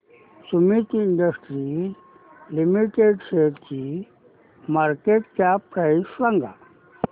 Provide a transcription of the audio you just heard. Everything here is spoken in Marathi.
सुमीत इंडस्ट्रीज लिमिटेड शेअरची मार्केट कॅप प्राइस सांगा